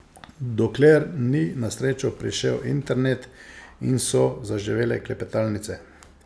Dokler ni na srečo prišel internet in so zaživele klepetalnice.